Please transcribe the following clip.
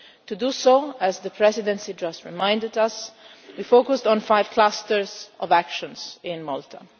To do so, as the Presidency just reminded us, we focused on five clusters of actions in Malta.